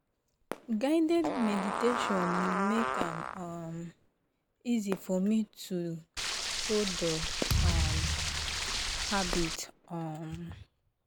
guided meditation make am um easy for me to hold the um habit. um